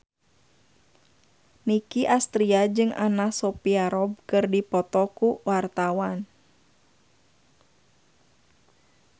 Nicky Astria jeung Anna Sophia Robb keur dipoto ku wartawan